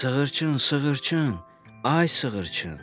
Sığırçın, sığırçın, ay sığırçın.